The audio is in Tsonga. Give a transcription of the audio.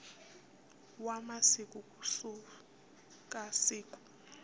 wa masiku ku suka siku